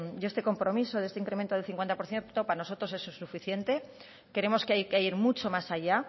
y este compromiso de este incremento del cincuenta por ciento para nosotros eso es insuficiente creemos que hay que ir mucho más allá